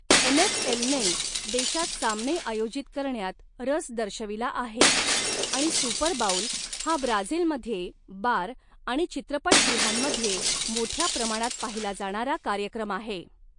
एनएफएलने देशात सामने आयोजित करण्यात रस दर्शविला आहे आणि सुपर बाऊल हा ब्राझीलमध्ये बार आणि चित्रपटगृहांमध्ये मोठ्या प्रमाणात पाहिला जाणारा कार्यक्रम आहे.